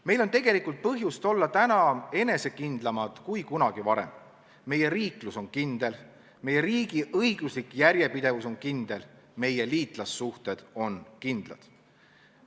Meil on tegelikult põhjust olla täna enesekindlamad kui kunagi varem, meie riiklus on kindel, meie riigi õiguslik järjepidevus on kindel, meie liitlassuhted on kindlad.